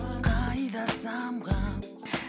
қайда самғап